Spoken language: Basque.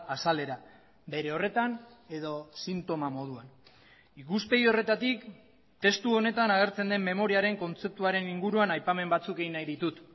azalera bere horretan edo sintoma moduan ikuspegi horretatik testu honetan agertzen den memoriaren kontzeptuaren inguruan aipamen batzuk egin nahi ditut